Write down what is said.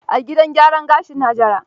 A gidan gyaran gashin Hajara.